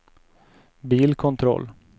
bilkontroll